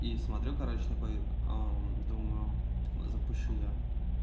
и смотрю короче такой думаю запущу я